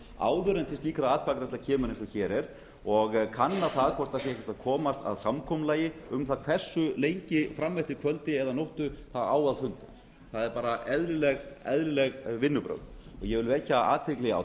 áður en til atkvæðagreiðslu kemur eins og hér er og kanna hvort ekki sé hægt að komast að samkomulagi um hversu lengi fram eftir kvöldi eða nóttu á að funda það eru eðlileg vinnubrögð ég vil vekja athygli á